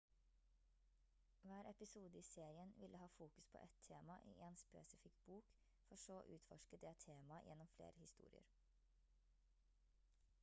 hver episode i serien ville ha fokus på et tema i en spesifikk bok for så å utforske det temaet gjennom flere historier